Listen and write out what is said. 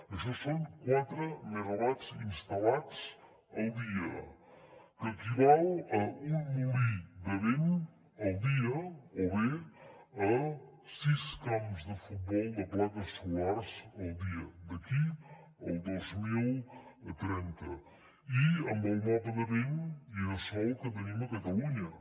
això són quatre megawatts instal·lats al dia que equivalen a un molí de vent al dia o bé a sis camps de futbol de plaques solars al dia d’aquí al dos mil trenta i amb el mapa de vent i de sol que tenim a catalunya